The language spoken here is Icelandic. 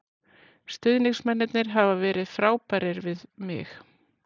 Stuðningsmennirnir hafa verið frábærir við mig.